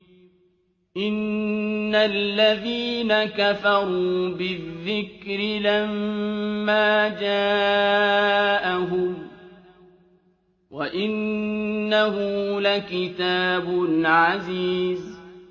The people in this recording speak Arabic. إِنَّ الَّذِينَ كَفَرُوا بِالذِّكْرِ لَمَّا جَاءَهُمْ ۖ وَإِنَّهُ لَكِتَابٌ عَزِيزٌ